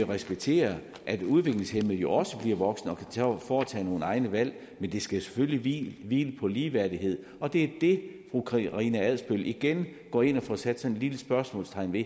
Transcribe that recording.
respektere at udviklingshæmmede jo også bliver voksne og kan foretage egne valg men det skal selvfølgelig hvile på ligeværdighed og det er det fru karina adsbøl igen går ind og får sat et lille spørgsmålstegn ved